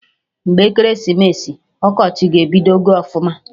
Mgbe ekeresimesi, ọkọchị ga-ebidogo ọfụma